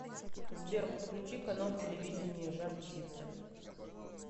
сбер подключи канал телевидения жар птица